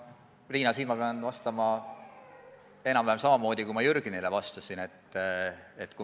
Riina, pean sulle vastama enam-vähem samamoodi, kui ma Jürgenile vastasin.